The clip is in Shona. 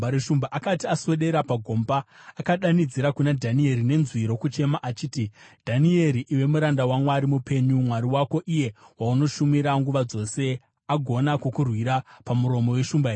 Akati aswedera pagomba, akadanidzira kuna Dhanieri nenzwi rokuchema achiti, “Dhanieri, iwe muranda waMwari mupenyu, Mwari wako, iye waunoshumira nguva dzose, agona kukurwira pamuromo weshumba here?”